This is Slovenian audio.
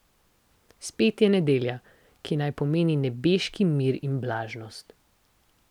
Spet je nedelja, ki naj pomeni nebeški mir in blaženost.